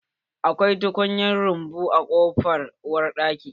Akwai tukunyan rumbu a bayan kofan uwar daki